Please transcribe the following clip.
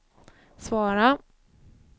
svara